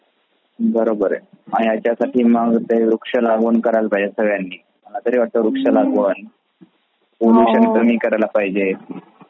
बरोबर आहे याचसाठी मग ते वृक्ष लावून करायला पाहजे सरव्यानी मला तरी वाटते वृक्ष लगावून प्रदूषण कमी करायला पाहजे.